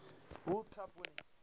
world cup winning